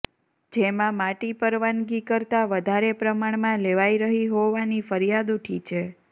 જેમાં માટી પરવાનગી કરતા વધારે પ્રમાણમાં લેવાઇ રહી હોવાની ફરિયાદ ઉઠી છે